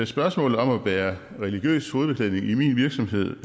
spørgsmålet om at bære religiøs hovedbeklædning i min virksomhed